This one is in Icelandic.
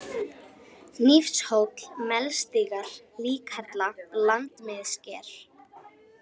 Hnífshóll, Melstígar, Líkhella, Landmiðsker